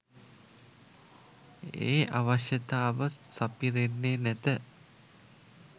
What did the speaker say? ඒ අවශ්‍යතාව සපිරෙන්නේ නැත.